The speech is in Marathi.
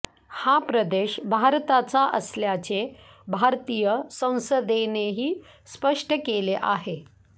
हा प्रदेश भारताचा असल्याचे भारतीय संसदेनेही स्पष्ट केले आहे